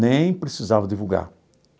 Nem precisava divulgar.